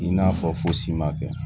I n'a fɔ fosi ma kɛ